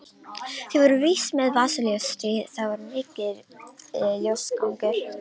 Þeir voru víst með vasaljós því það var mikill ljósagangur.